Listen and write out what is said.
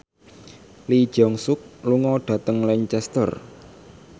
Lee Jeong Suk lunga dhateng Lancaster